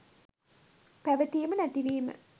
පැවතීම නැතිවීම